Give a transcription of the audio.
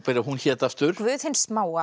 hún hét aftur Guð hins smáa